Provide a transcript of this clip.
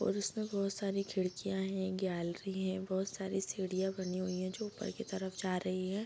और इसमें बहुत सारी खिड़कियाँ हैं गैलरी है बहुत सारी सीढ़ियाँ बनी हुई हैं जो ऊपर की तरफ जा रही हैं |